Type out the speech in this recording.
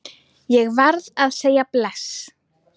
Ég varð að segja bless.